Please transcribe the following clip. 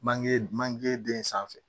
Manje manje den sanfɛ